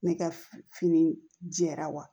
Ne ka fini jɛra wa